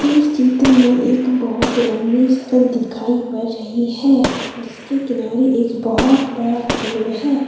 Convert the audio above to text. इस चित्र में एक बहोत लंबी सड़क दिखाई पड़ रही है जिसके किनारे एक बहोत बड़ा पेड़ है।